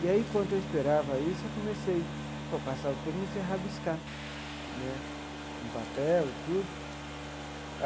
E aí, enquanto eu esperava isso, eu comecei, para passar o tempo, comecei a rabiscar né no papel e tudo.